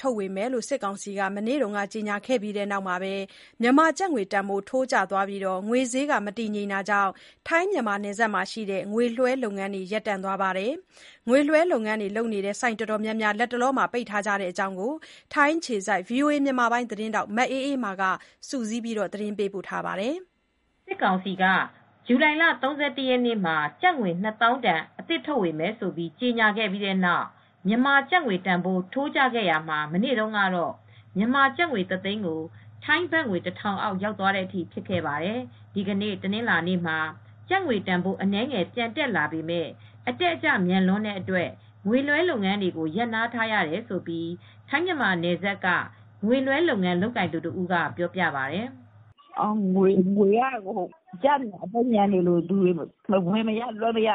ထုတ်ဝေမယ်လို့ စစ်ကောင်စီက မနေ့က ကြေညာခဲ့ပြီးတဲ့နောက် မြန်မာကျပ်ငွေတန်ဖိုး ထိုးကျသွားပြီး ငွေဈေး မတည်ငြိမ် တော့တာကြောင့် ထိုင်း−မြန်မာနယ်စပ်က ငွေလွှဲလုပ်ငန်းတွေလည်း ရပ်တန့်သွားပါတယ်။ ငွေလွှဲလုပ်ငန်း လုပ်နေတဲ့ ဆိုင်အတော်များများ လတ်တလော ပိတ်ထားကြတဲ့အကြောင်း ထိုင်းအခြေစိုက် ဗွီအိုအေ သတင်းထောက် မအေးအေးမာက သတင်းပေးပို့ ထားပါတယ်။ စစ်ကောင်စီက ဇူလိုင်လ ၃၁ ရက်မှာ ကျပ်ငွေ နှစ်သောင်းတန် အသစ်ထုတ်ဝေမယ်ဆိုပြီး ကြေညာခဲ့ပြီးတဲ့နောက် မြန်မာကျပ်ငွေ တန်ဖိုး ထိုးကျခဲ့ရတာမှာ မနေ့တုန်းကတော့ မြန်မာကျပ်ငွေ ၁ သိန်းကို ထိုင်းဘတ်ငွေ ၁ ထောင်အောက် ရောက်သွားတဲ့အထိ ဖြစ်ခဲ့ပါတယ်။ ဒီကနေ့ တနင်္လာနေ့မှာ ကျပ်ငွေတန်ဖိုး အနည်းငယ်ပြန် တက်လာပေမဲ့ အတက်အကျ မြန်လွန်းတဲ့အတွက် ငွေလွှဲ လုပ်ငန်းတွေကို ရပ်နားထားရတယ်လို့ ထိုင်းမြန်မာနယ်စပ်က ငွေလွှဲလုပ်ငန်း လုပ်ကိုင်သူတဦးက ပြောပြပါတယ်။ "ငွေက အကျမြန်နေလို့ ဝယ်မရ လွှဲမရ ဖြစ်ပြီး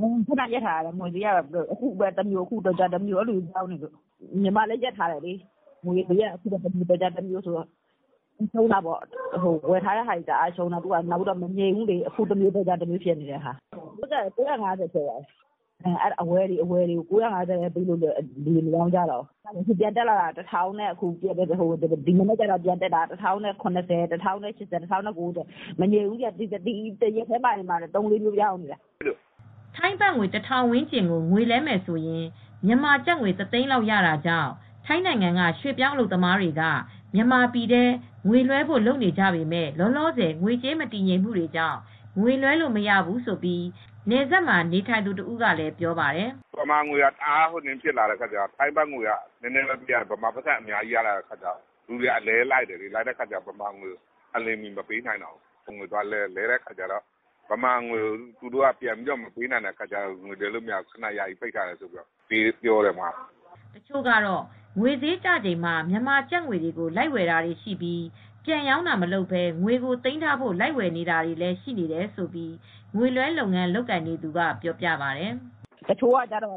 ငွေလွှဲတာတွေ ရပ်ထားရတယ်။ ငွေဈေးက အခုတမျိုး တော်ကြာတမျိုး ပြောင်းနေလို့ ညီမလည်း ရပ်ထားရတယ်။ ငွေက အခုတမျိုးတော်ကြာတမျိုးဆိုတော့ ဝယ်ထားတာတွေလည်း တအားရှုံးတယ်။ ငွေဈေးက မငြိမ်ဘူးလေ။ အခုတမျိုး တော်ကြားတမျိုး ငွေဈေးက ၉၅၀ ထိ ဖြစ်သွားတယ်ဆိုတော့ အဝယ်တွေကို ၉၅၀ ပဲ ပေးတော့ လူတွေက မရောင်းကြတော့ ဒီမနက်က ပြန်တက်တာက တသိန်းကို ၁၀၇၀၊ ၁၀၈၀၊ ၁၀၉၀ ဖြစ်တယ် တနေ့တည်း သုံးကြိမ်လောက်ဖြစ်နေတယ်။" ထိုင်းဘတ်ငွေ ၁ ထောင်ဝန်းကျင်ကို ငွေလဲမယ်ဆိုရင် မြန်မာကျပ်ငွေ ၁ သိန်းလောက် ရတာကြောင့် ထိုင်းနိုင်ငံက ရွှေပြောင်း အလုပ်သမားတွေ က မြန်မာပြည်ထဲ ငွေလွှဲဖို့လုပ်ကြပေမဲ့၊ လောလောဆယ် ငွေကြေး မတည်ငြိမ်မှုကြောင့် ငွေလွှဲလို့ မရဘူးလို့ နယ်စပ်မှာ နေထိုင်နေသူ တဦးကလည်း ပြောပါတယ်။ “မြန်မာငွေက တအားကျတော့ ထိုင်းဘတ်ငွေပေးရင် ထိုင်းဘတ်ငွေ နည်းနည်းပဲပေးရင် မြန်မာက အများကြီးရတယ်ဆိုတော့ ငွေက အလဲ လိုက်နေတယ် အလျင်မီ မပေးနိုင်တော့ဘူး။ ဒီတော့ ငွေလဲတော့ သူတို့က မြန်မာငွေ မပေးနိုင်ကြတော့ဘူး။ အဲဒီတော့ မလဲပေးတော့ဘူး ပြောတယ်။” တချို့ကတော့ ငွေဈေးကျချိန်မှာ မြန်မာကျပ်ငွေတွေကို လိုက်ဝယ်တာတွေ ရှိပြီး ပြန်ရောင်းတာမလုပ်ဘဲ ငွေကို သိမ်းထားဖို့ လိုက်ဝယ်တာတွေလည်း ရှိတယ်လို့ ငွေလွှဲလုပ်ငန်း လုပ်နေသူက ပြောပါတယ်။ "တချို့က မြန်မာငွေက ကျတော့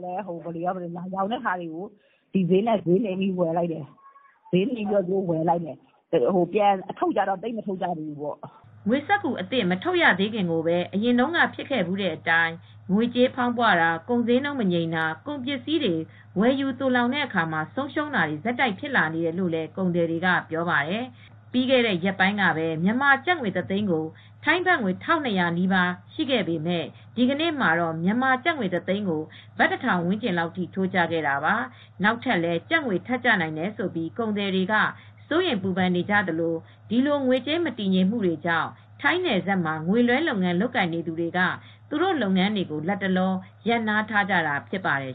ဒီဈေးနဲ့ လိုက်ဝယ်တယ်။ ပြန်ထုတ်တာ ကျတော့ သိပ်မလုပ်တော့ဘူး။" ငွေစက္ကူအသစ် မထုတ်ရသေးခင်မှာကိုပဲ အရင်တုန်းက ဖြစ်ခဲ့ဖူးတဲ့အတိုင်း ငွေကြေးဖောင်းပွတာ၊ ကုန်ဈေးနှုန်း မငြိမ်တာ၊ ကုန်ပစ္စည်းတွေ ဝယ်ယူ သိုလှောင်တဲ့အခါ ဆုံးရှုံးတာတွေ ဆက်တိုက် ဖြစ်လာနေတယ်လို့လည်း ကုန်သည်တွေက ပြောပါတယ်။ ပြီးခဲတဲ့ ရက်ပိုင်းကပဲ မြန်မာကျပ်ငွေ တသိန်းကို ထိုင်းဘတ်ငွေ ၁၂၀၀ နီးပါး ရှိခဲ့ပေမဲ့ ဒီကနေ့မှာတော့ မြန်မာကျပ်ငွေ တသိန်းကို ဘတ် ၁ ထောင်ဝန်းကျင်အထိ ထိုးကျခဲ့တာပါ။ နောက်ထပ်လည်း ကျပ်ငွေ ထပ်ကျနိုင်တယ်ဆိုပြီး ကုန်သည်တွေက စိုးရိမ်ပူပန်နေကြသလို၊ ဒီလို ငွေကြေးမတည်ငြိမ်မှုကြောင့် ထိုင်းနယ်စပ်မှာ ငွေလွှဲလုပ်ငန်း လုပ်ကိုင်နေသူတွေက သူတို့လုပ်ငန်းတွေကို လတ်တလော ရပ်နားထားကြတာ ဖြစ်ပါတယ်